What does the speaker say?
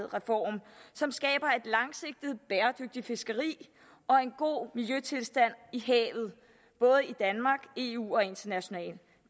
reform som skaber et langsigtet bæredygtigt fiskeri og en god miljøtilstand i havet både i danmark eu og internationalt